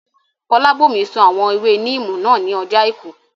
Fọlábòmí sun àwọn ewé níìmù náà ní ọjọ́ àìkú